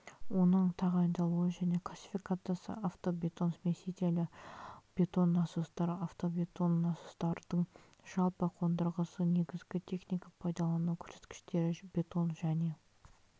оның тағайындалуы және классификациясы автобетон смесителі бетон насостар автобетон насостардың жалпы қондырғысы негізгі техника пайдалану көрсеткіштері бетон және